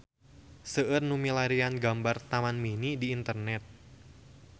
Seueur nu milarian gambar Taman Mini di internet